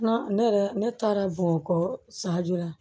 Ne yɛrɛ ne taara bɔn kɔ san jɔ la